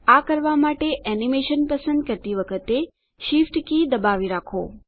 આ કરવાં માટે એનીમેશન પસંદ કરતી વખતે Shift કી દબાવી રાખો